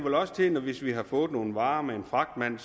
til at hvis vi har fået nogle varer med en fragtmand